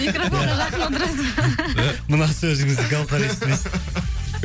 микрафонға жақын отырасыз ба мына сөзіңізді гаухар естімесін